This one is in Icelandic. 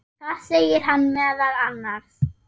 Þar segir hann meðal annars